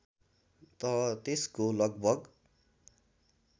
त त्यसको लगभग